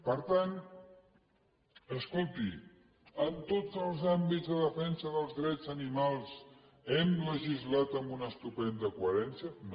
per tant escolti en tots els àmbits de defensa dels drets animals hem legislat amb una estupenda coherència no